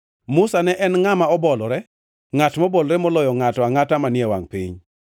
(Musa ne en ngʼama obolore, ngʼat mobolore moloyo ngʼato angʼata manie wangʼ piny.)